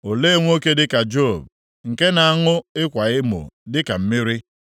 Olee nwoke dịka Job, nke na-aṅụ ịkwa emo dịka mmiri?